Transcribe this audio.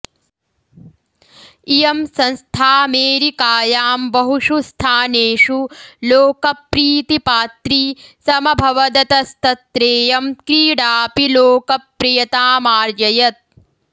इयं संस्थाऽमेरिकायां बहुषु स्थानेषु लोकप्रीतिपात्री समभवदतस्तत्रेयं क्रीडाऽपि लोकप्रियतामार्जयत्